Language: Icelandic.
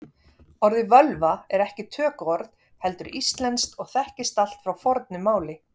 Orðið völva er ekki tökuorð heldur íslenskt og þekkist allt frá fornu máli.